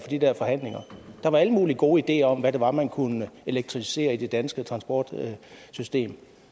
de der forhandlinger der var alle mulige gode ideer om hvad det var man kunne elektrificere i det danske transportsystem